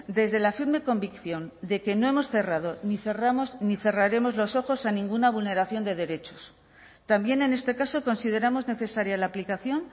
desde la firme convicción de que no hemos cerrado ni cerramos ni cerraremos los ojos a ninguna vulneración de derechos también en este caso consideramos necesaria la aplicación